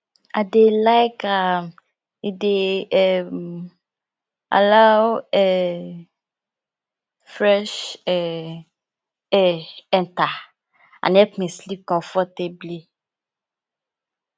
i dey like am e dey um allow um fresh um air enter and help me sleep comfortably